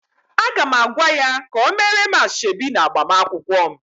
Aga m agwa ya ka o meere m asoebi na agbamakwụkwọ m